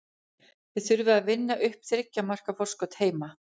Þið þurfið að vinna upp þriggja marka forskot heima.